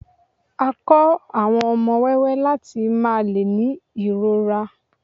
a ko àwọn ọmọ wẹwẹ lati máà le ni irọra